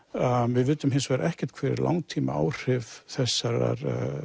við vitum hins vegar ekkert hver langtímaáhrif þessara